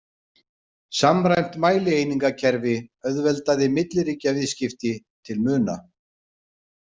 Samræmt mælieiningakerfi auðveldaði milliríkjaviðskipti til muna.